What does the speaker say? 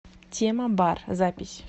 темабар запись